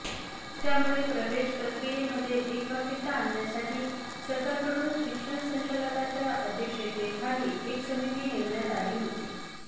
त्यामुळे प्रवेशप्रक्रियेमध्ये एकवाक्यता आणण्यासाठी सरकारकडून शिक्षण संचालकाच्या अध्यक्षतेखाली एक समिती नेमण्यात आली होती